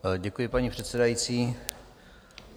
Děkuji, paní předsedající.